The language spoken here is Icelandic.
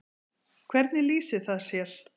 Hvernig lýsir það sér?